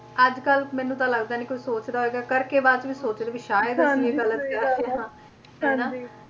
ਅੱਜ ਕੱਲ ਮੈਨੂੰ ਤਾਂ ਲੱਗਦਾ ਨੀ ਕੋਈ ਸੋਚਦਾ ਹੋਏਗਾ ਕਰਕੇ ਬਾਅਦ ਵਿੱਚ ਸੋਚਦੇ ਵੀ ਸ਼ਾਇਦ ਇਹ ਅਸੀਂ ਗਲਤ ਕਰ ਰਹੇ ਆ ਹਨਾਂ ਹਾਂਜੀ।